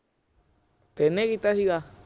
ਕੀਤਾ ਸੀਗਾ